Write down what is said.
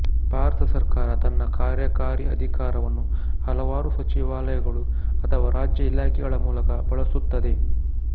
ಭಾರತ ಸರ್ಕಾರ ತನ್ನ ಕಾರ್ಯಕಾರಿ ಅಧಿಕಾರವನ್ನು ಹಲವಾರು ಸಚಿವಾಲಯಗಳು ಅಥವಾ ರಾಜ್ಯ ಇಲಾಖೆಗಳ ಮೂಲಕ ಬಳಸುತ್ತದೆ